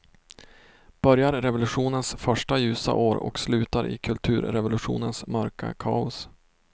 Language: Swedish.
Börjar i revolutionens första ljusa år och slutar i kulturrevolutionens mörka kaos.